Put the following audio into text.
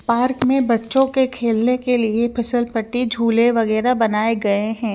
Park में बच्चो के खेलने के लिए फिसल पट्टी झूले वगेरह बनाये गये है।